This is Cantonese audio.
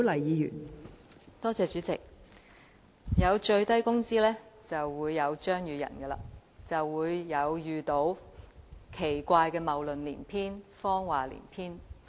代理主席，有最低工資就會有張宇人議員，就會聽到奇怪的謬論及謊話連篇。